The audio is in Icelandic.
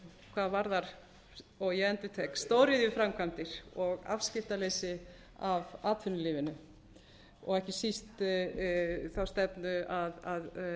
hvað varðar og ég endurtek stóriðjuframkvæmdir og afskiptaleysi af atvinnulífinu og ekki síst þá stefnu að